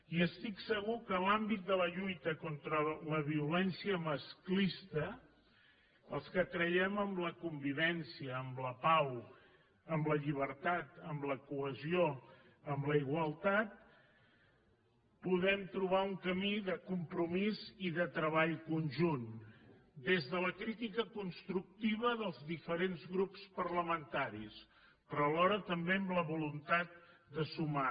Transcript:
i estic segur que en l’àmbit de la lluita contra la violència masclista els que creiem en la convivència en la pau en la llibertat en la cohesió en la igualtat podem trobar un camí de compromís i de treball conjunt des de la crítica constructiva dels diferents grups parlamentaris però alhora també amb la voluntat de sumar